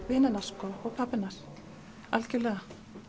vina hennar sko og pabba hennar algerlega